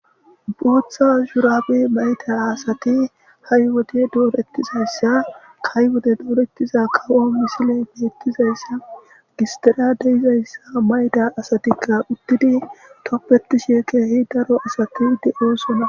Bootha shuraabe mayta asati hay wode dooretizayssa kaywode doorettiza kawo misile meettizayssa gistira deizayssa mayda asatikka uttidi toppetishe keehi daro asati de7eessona.